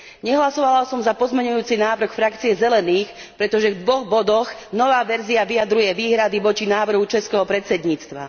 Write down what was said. Nehlasovala som za pozmeňujúci návrh skupiny Zelených, pretože v dvoch bodoch nová verzia vyjadruje výhrady voči návrhu českého predsedníctva.